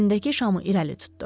Əlindəki şamı irəli tutdu.